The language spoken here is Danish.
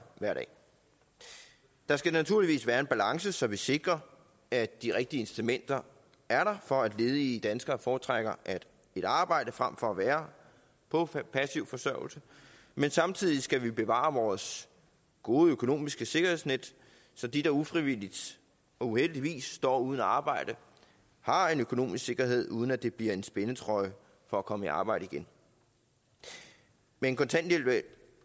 hver dag der skal naturligvis være en balance så vi sikrer at de rigtige incitamenter er der for at ledige danskere foretrækker et arbejde frem for at være på passiv forsørgelse men samtidig skal vi bevare vores gode økonomiske sikkerhedsnet så de der ufrivilligt og uheldigvis står uden arbejde har en økonomisk sikkerhed uden at det bliver en spændetrøje for at komme i arbejde igen men kontanthjælpen